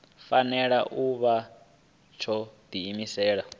fanela u vha tsho diimisela